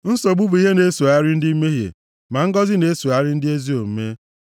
Nsogbu bụ ihe na-esogharị ndị mmehie, ma ngọzị na-esogharị ndị ezi omume.